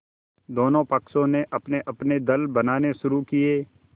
दोनों पक्षों ने अपनेअपने दल बनाने शुरू किये